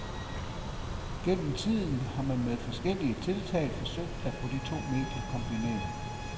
Gennem tiden har man med forskellige tiltag forsøgt at få de to medier kombineret.